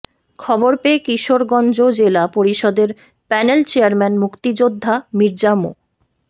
খবর পেয়ে কিশোরগঞ্জ জেলা পরিষদের প্যানেল চেয়ারম্যান মুক্তিযোদ্ধা মির্জা মো